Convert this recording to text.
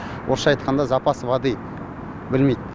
орысша айтқанда запас воды білмейді